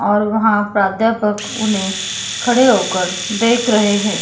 और वहां प्राध्यापक उन्हें खड़े होकर देख रहे हैं।